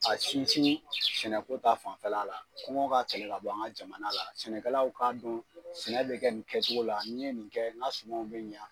A sinsin sɛnɛko ta fanfɛla la kɔngɔ ka kɛlɛ ka bɔ an ka jamana la, sɛnɛkalaw k'a dɔn sɛnɛ bɛ kɛ nin kɛcogo la, n'i ye nin kɛ n ka sumanw be ɲan